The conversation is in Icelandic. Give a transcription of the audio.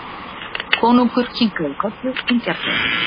Konungur kinkaði kolli vingjarnlega.